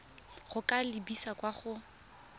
go ka lebisa kwa go